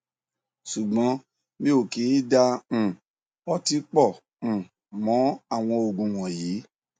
ṣùgbọn mi ò kì í da um ọtí pọ um mọ àwọn oogun wọnyí